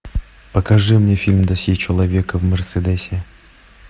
покажи мне фильм досье человека в мерседесе